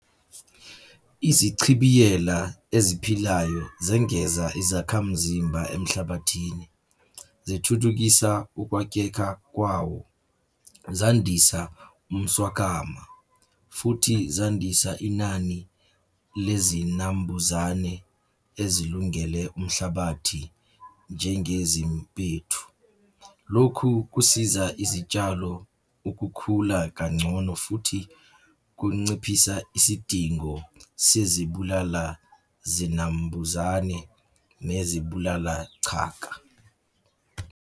Izichibiyela eziphilayo zengaza izakhamzimba emhlabathini. Zithuthukisa ukwakheka kwawo, zandisa umswakama, futhi zandisa inani lezinambuzane ezilungele umhlabathi njengezimpethu. Lokhu kusiza izitshalo ukukhula kangcono futhi kunciphisa isidingo sezibulala zinambuzane nezibulala chaka.